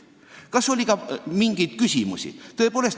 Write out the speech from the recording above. Kas oli ka mingeid küsimusi?